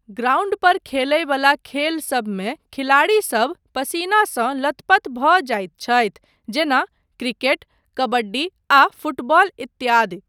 Ground पर खेलय वला खेलसबमे खेलाड़ीसब पसीनासँ लथपथ भऽ जाइत छथि जेना, क्रिकेट, कबड्डी आ फुटबॉल इत्यादि।